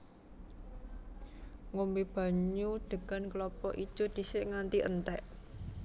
Ngombé banyu degan klapa ijo dhisik nganti entèk